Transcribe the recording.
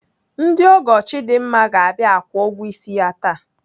Ndị ọgọ Chidimma ga-abịa akwụ ụgwọ ịsị ya taa.